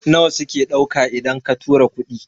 nawa suke dauka idan ka tura kuɗi?